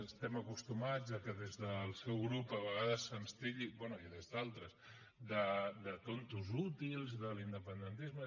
estem acostumats a que des del seu grup a vegades se’ns titlli bé i des d’altres de tontos útils a l’independentisme